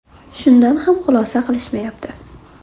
Shundan ham xulosa qilishmayapti.